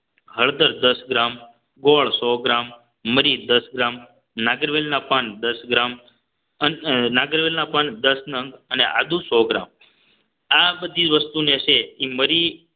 હળદર દસ ગ્રામ ગોળ સો ગ્રામ મરી દસ ગ્રામ નાગરવેલના પાન દસ ગ્રામ નાગરવેલના પણ દસ નંગ અને આદુ સો ગ્રામ આ બધી વસ્તુને છે એ મરી